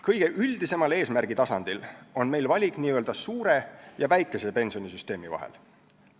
Kõige üldisemal eesmärgi tasandil on meil valik n-ö suure ja väikese pensionisüsteemi vahel.